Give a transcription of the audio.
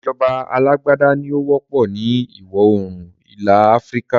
Ìsèjọba alàgbàda ní ó wọ́pọ̀ ni ìwọ oòrùn ilẹ̀ Áfríkà